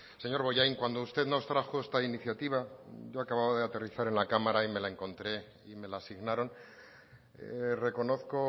señor bollain cuando usted nos trajo esta iniciativa yo acababa de aterrizar en la cámara y me la encontré y me la asignaron reconozco